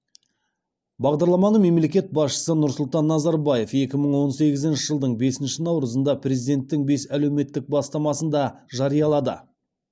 бағдарламаны мемлекет басшысы нұрсұлтан назарбаев екі мың он сегізінші жылдың бесінші наурызында президенттің бес әлеуметтік бастамасында жариялады